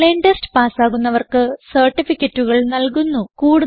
online test പാസ്സാകുന്നവർക്ക് സർട്ടിഫികറ്റുകൾ നല്കുന്നു